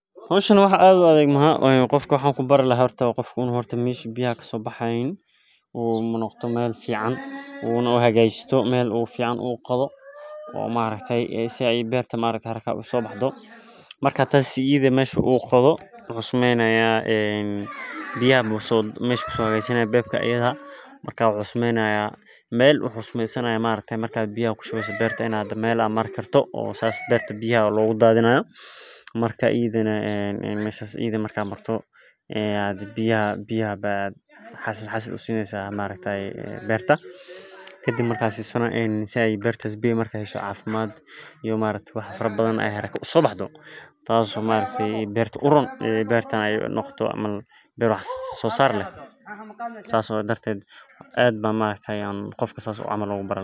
Hishani waxaa an qofka kubari laha meesha biyaha kasoboxo in u hagajiyo beerta biyaha lagu dadhinayo beerta biyaha aya xasil xasil usineysa tas oo beerta uron sas daraded qofka aad ayan markas ogu bari laha sas waye maaragte.